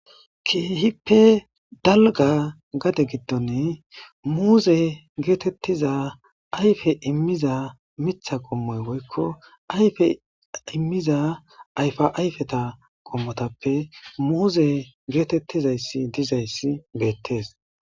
keehippe dalga gade giddon muuze geetettiza ayfe immiza mitha qommoy woykko ayfe immiza ayfa ayfeta qommotappe muuze geetettizayssi dizayssi beettees